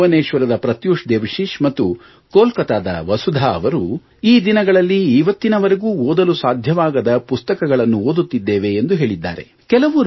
ಭುವನೇಶ್ವರದ ಪ್ರತ್ಯೂಶ್ ಮತ್ತು ಕೊಲ್ಕತ್ತಾದ ವಸುಧಾ ಅವರು ಈ ದಿನಗಳಲ್ಲಿ ಇವತ್ತಿನವರೆಗೂ ಓದಲು ಸಾಧ್ಯವಾಗದ ಪುಸ್ತಕಗಳನ್ನು ಓದುತ್ತಿದ್ದೇವೆ ಎಂದು ಹೇಳಿದ್ದಾರೆ